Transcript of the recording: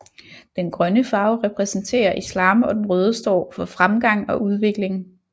Den grønne farve repræsenterer islam og den røde står for fremgang og udvikling